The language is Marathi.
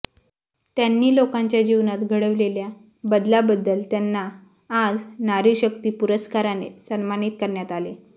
त्यांनी लोकांच्या जीवनात घडविलेल्या बदलाबद्दल त्यांना आज नारी शक्ती पुरस्काराने सन्मानित करण्यात आले